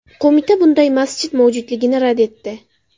Qo‘mita bunday masjid mavjudligini rad etdi.